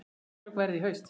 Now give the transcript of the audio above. Verklok verða í haust.